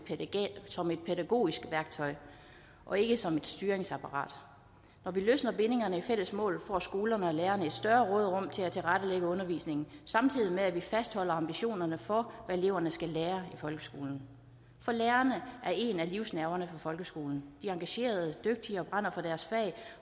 som et pædagogisk værktøj og ikke som et styringsapparat når vi løsner bindingerne i de fælles mål får skolerne og lærerne et større råderum til at tilrettelægge undervisningen samtidig med at vi fastholder ambitionerne for hvad eleverne skal lære i folkeskolen for lærerne er en del af livsnerven i folkeskolen de er engagerede dygtige og brænder for deres fag